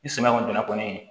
Ni samiya kɔni donna kɔni